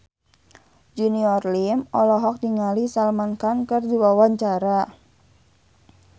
Junior Liem olohok ningali Salman Khan keur diwawancara